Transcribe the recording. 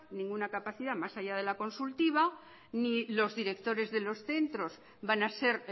ninguna capacidad más allá de la consultiva ni los directores de los centros van a ser